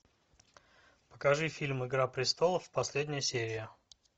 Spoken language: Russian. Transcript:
покажи фильм игра престолов последняя серия